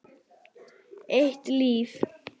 Eitt líf.